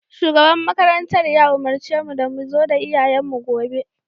Shugaban makarantar ya umurce mu da mu zo da iyayenmu gobe